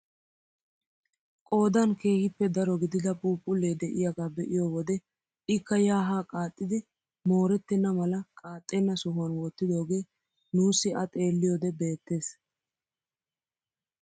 Qoodan keehippe daro gidida phuuphullee de'iyaagaa be'iyoo wode ikka yaa haa qaaxxidi moorettena mala qaaxxena sohuwaan wottidoogee nussi a xeelliyoode beettees.